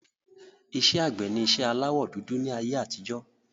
Iṣẹ́ àgbẹ̀ ni iṣẹ́ aláwọ dúdú ni ayé àtijọ́